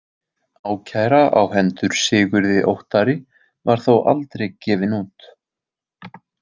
Ákæra á hendur Sigurði Óttari var þó aldrei gefin út.